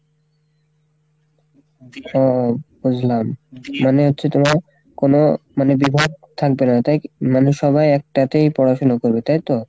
ও বুঝলাম মানে হচ্ছে তোমার কোনো মানে বিভাগ থাকবে না তাই, মানে সবাই একটাতেই পড়াশুনা করবে, তাই তো?